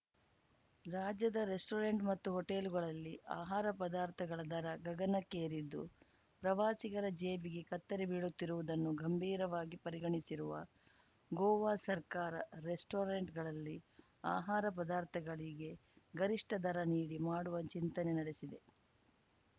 ರಾಜ್ಯದ ರೆಸ್ಟೋರೆಂಟ್‌ ಮತ್ತು ಹೋಟೆಲ್‌ಗಳಲ್ಲಿ ಆಹಾರ ಪದಾರ್ಥಗಳ ದರ ಗಗನಕ್ಕೇರಿದ್ದು ಪ್ರವಾಸಿಗರ ಜೇಬಿಗೆ ಕತ್ತರಿ ಬೀಳುತ್ತಿರುವುದನ್ನು ಗಂಭೀರವಾಗಿ ಪರಿಗಣಿಸಿರುವ ಗೋವಾ ಸರ್ಕಾರ ರೆಸ್ಟೋರೆಂಟ್‌ಗಳಲ್ಲಿ ಆಹಾರ ಪದಾರ್ಥಗಳಿಗೆ ಗರಿಷ್ಠ ದರ ನಿಗದಿ ಮಾಡುವ ಚಿಂತನೆ ನಡೆಸಿದೆ